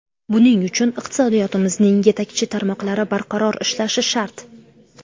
Buning uchun iqtisodiyotimizning yetakchi tarmoqlari barqaror ishlashi shart.